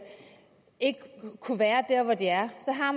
kunne være der hvor de er så har